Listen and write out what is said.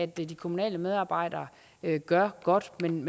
de de kommunale medarbejdere gør godt men